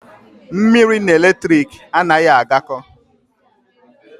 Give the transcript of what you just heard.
Mmiri na eletrik anaghị agakọ.